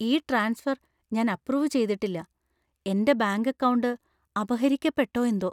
ഈ ട്രാൻസ്ഫർ ഞാൻ അപ്പ്രൂവ്‌ ചെയ്തിട്ടില്ല. എന്‍റെ ബാങ്ക് അക്കൗണ്ട് അപഹരിക്കപ്പെട്ടോ എന്തോ!